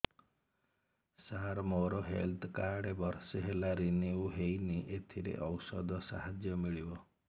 ସାର ମୋର health card ବର୍ଷେ ହେଲା ରିନିଓ ହେଇନି ଏଥିରେ ଔଷଧ ସାହାଯ୍ୟ ମିଳିବ